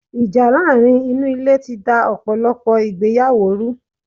Ìjà láàrin inú Ilé ti da ọ̀pọ̀lọ̀pọ̀ ìgbéyàwó ru